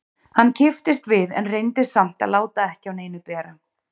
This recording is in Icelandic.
Hann kipptist við en reyndi samt að láta ekki á neinu bera.